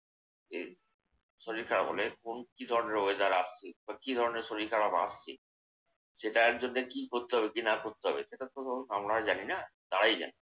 এই শরীর খারাপ অনেক্ষণ। কি ধরনের weather আসছে কি ধরনের শরীর খারাপ আসছে সেটার জন্যে কি করতে হবে কি না করতে হবে সেটা তো আমরা তো জানি না। তারাই জানে।